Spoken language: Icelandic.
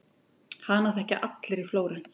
Hana þekkja allir í Flórens.